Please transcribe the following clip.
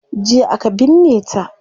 Jiya aka binne ta